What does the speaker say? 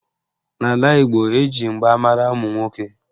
N'ala Igbo, eji mgba mara ụmụnwoke